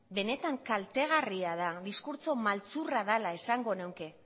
benetan kaltegarria da diskurtso maltzurra dala esango neuke